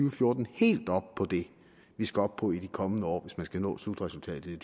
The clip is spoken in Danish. og fjorten helt op på det vi skal op på i de kommende år hvis man skal nå slutresultatet i